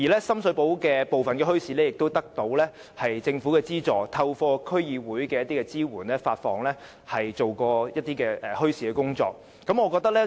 深水埗部分墟市亦得到政府資助，並透過區議會支援，進行一些與墟市有關的工作。